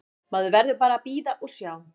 Maður verður bara að bíða og sjá.